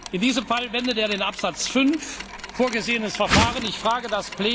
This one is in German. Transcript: In diesem Fall wendet er das in Absatz 5 vorgesehene Verfahren an.